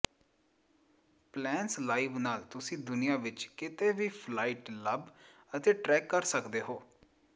plans Live ਨਾਲ ਤੁਸੀਂ ਦੁਨੀਆ ਵਿੱਚ ਕਿਤੇ ਵੀ ਫਲਾਈਟ ਲੱਭ ਅਤੇ ਟ੍ਰੈਕ ਕਰ ਸਕਦੇ ਹੋ